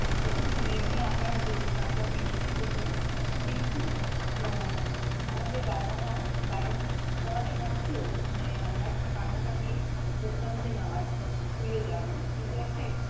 যখন মেঘলা আকাশ দেখতাম বা বৃষ্টি হত কিন্তু আহ আমাদের বাবা-মা বারণ করা শর্তেও মানে আমরা কান্নাকাটি করতাম যে না school এ যাব কিন্তু একটা-